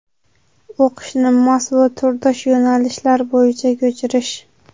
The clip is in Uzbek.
O‘qishni mos va turdosh yo‘nalishlar bo‘yicha ko‘chirish.